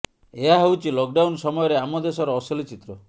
ଏହା ହେଉଛି ଲକଡାଉନ୍ ସମୟରେ ଆମ ଦେଶର ଅସଲି ଚିତ୍ର